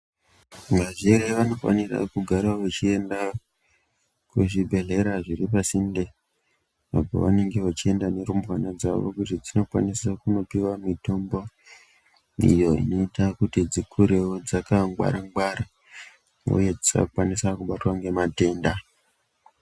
Vazvere vanofanira kugara vachienda kuzvibhedhlera zviri pasinde apo vanenge vachienda nerumbwana dzawo zvedzinokwanise kundopiwa mitombo iyo inoita kuti dzikurewo dzakangwara ngwara uye dzisakwanisa kubatwa ngematenda.